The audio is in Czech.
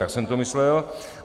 Tak jsem to myslel.